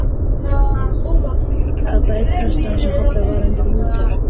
kallaði einn prestanna sem hallur var undir Lúter.